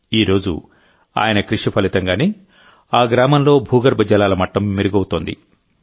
ఈరోజు ఆయన కృషి ఫలితంగానే ఆ గ్రామంలో భూగర్భ జలాల మట్టం మెరుగవుతోంది